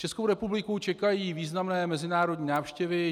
Českou republiku čekají významné mezinárodní návštěvy.